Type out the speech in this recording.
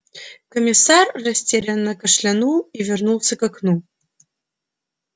комиссар растерянно кашлянул и вернулся к окну